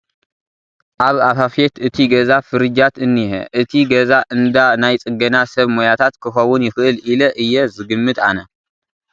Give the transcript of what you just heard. ኣብ ኣፋፌት እቲ ገዛ ፍሪጃት እንሄ እቲ ገዛ እንዳ ናይ ፅገና ሰብ ሞያታት ክኽውን ይኽእል ኢለ እየ ዝግምት ኣነ ።